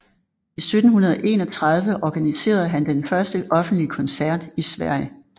I 1731 organiserede han den første offentlige koncert i Sverige